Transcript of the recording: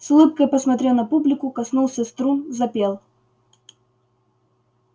с улыбкой посмотрел на публику коснулся струн запел